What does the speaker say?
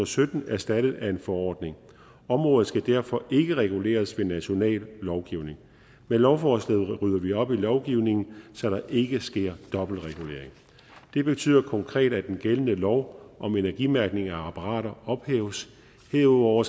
sytten erstattet af en forordning og området skal derfor ikke reguleres ved national lovgivning med lovforslaget rydder vi op i lovgivningen så der ikke sker dobbeltregulering det betyder konkret at den gældende lov om energimærkning af apparater ophæves og herudover